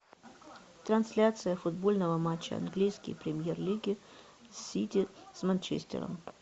трансляция футбольного матча английской премьер лиги сити с манчестером